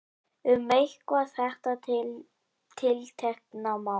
Um eitthvað þetta tiltekna mál.